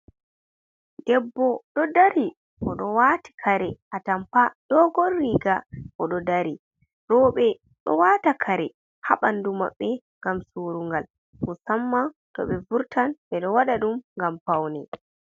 Debbo ɗo dari. Oɗo waati kare atampa dogor riga oɗo dari. Rooɓe ɗo waata kare haa ɓandu maɓɓe ngam surungal, musamman to ɓe vurtan, ɓe ɗo waɗa ɗum ngam paune.